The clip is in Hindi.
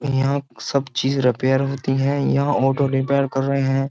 यहाँ सब चीज रिपेयर होती हैं यहाँ ऑटो रिपेयर कर रहे हैं।